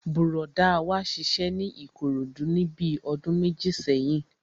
Bùrọ̀dá wa ṣiṣẹ́ ní Ìkòròdú níbi ọdún méjì sẹ́yìn